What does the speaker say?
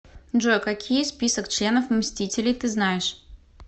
джой какие список членов мстителей ты знаешь